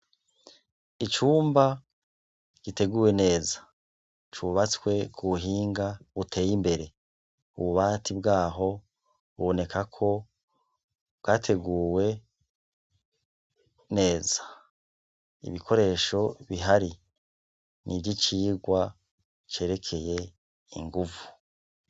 Icumba giteguwe neza cubatswe ku ubuhinga uteye imbere ububati bw'aho ubonekako bwateguwe neza ibikoresho bihari ni ivyo icirwa cerekeye ye inguvu.